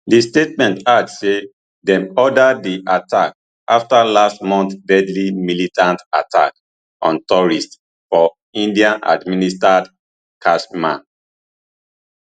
di statement add say dem order di attack afta last month deadly militant attack on tourists for indiaadministered kashmir